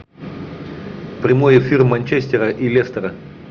прямой эфир манчестера и лестера